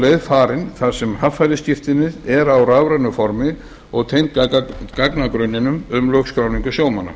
leið farin þar sem haffærisskírteinið er á rafrænu formi og tengt gagnagrunninum um lögskráningu sjómanna